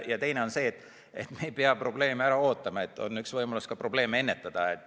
Ja teine on see, et me ei pea probleeme ära ootama, on võimalus ka probleeme ennetada.